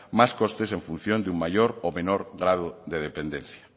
más costes en función de un mayor o menor grado de dependencia